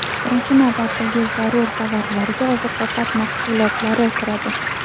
Birinchi navbatdagi zarur tovarlarga oziq-ovqat mahsulotlari kiradi.